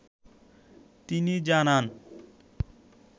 তিনি জানান ।